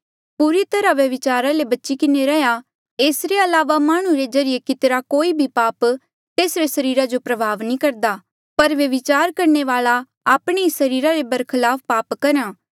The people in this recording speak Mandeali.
पूरी तरहा व्यभिचारा ले बची किन्हें रहा एसरे अलावा माह्णुं रे ज्रीए कितिरा कोई भी पाप तेसरे सरीरा जो प्रभाव नी करदा पर व्यभिचार करणे वाल्आ आपणे ई सरीरा रे बरखलाफ पाप करहा